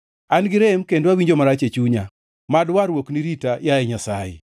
An-gi rem kendo awinjo marach e chunya; mad warruokni rita, yaye Nyasaye.